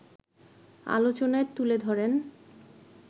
আলোচনায় তুলে ধরেন